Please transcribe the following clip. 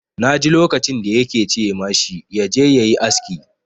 Na ji lokacin da ya ke ce ma shi ya je ya yi aski.